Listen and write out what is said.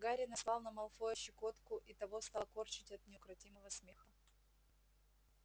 гарри наслал на малфоя щекотку и того стало корчить от неукротимого смеха